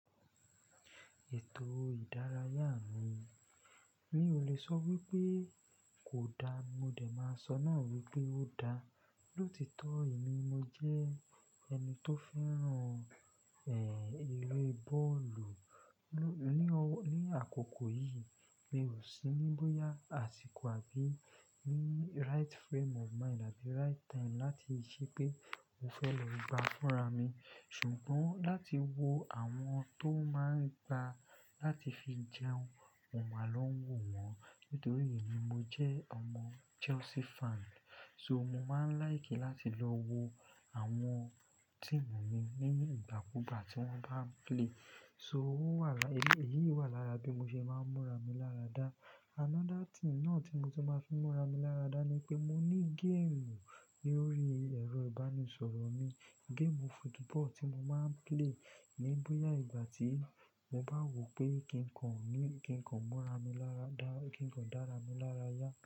Ètò ìdárayá mi, mi ò lè sọ wípé kò dáa, mo dẹ̀ máa sọ náà wípé ó dáa. Lóòtitọ́ èmi mo jẹ́ ẹni tó fẹ́ràn, ẹeré bọ́ọ̀lù. Ní àkókò yìí mi ò sí níbóyá àsìkò àbí ní right frame of mind àbí right time láti ṣe pé mo fẹ́ lọ gba fúra mi. Ṣùgbọ́n láti wo àwọn tó máa ń gba láti fi jẹun, mo máa ń lọ wò wọ́n. Nítorí èmi mo jẹ́ ọmọ Chelsea fan. So mo máa ń like láti lọ wo àwọn team mi nínú ìgbàkúgbà tí wọ́n bá ń play. So ó wà lára, èyí wà lára bí mo ṣe máa ń múra mi láradá. Another thing náà tí mo ti máa ń fi múra mi láradá ni pé mo ní game lórí ẹ̀rọ ìbánisọ̀rọ̀ mi. Game football tí mo máa ń play níbóyá ìgbà tí mo bá wò pé kíkan ò ní, kíkan múra mi láradá, kíkan dára mi lárayá.